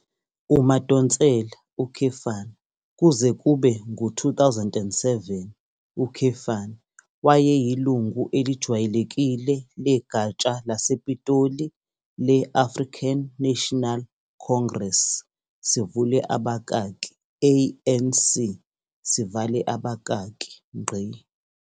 UMadonsela, kuze kube ngu-2007, wayeyilungu elijwayelekile legatsha lasePitoli le- African National Congress, ANC.